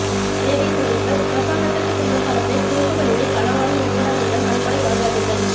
சேவை செய்யுங்கள் அரசாங்கத்திற்கு செல்லும் பணத்தை குறுக்கு வழியில் களவாடும் நிறுவனங்களிடம் நன்கொடை வாங்காதீர்கள்